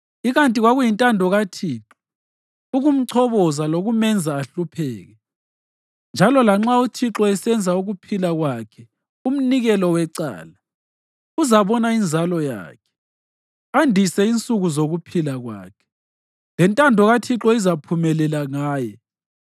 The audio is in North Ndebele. Ikanti kwakuyintando kaThixo ukumchoboza lokumenza ahlupheke, njalo lanxa uThixo esenza ukuphila kwakhe umnikelo wecala, uzabona inzalo yakhe, andise insuku zokuphila kwakhe, lentando kaThixo izaphumelela ngaye.